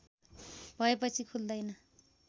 भएपछि खुल्दैन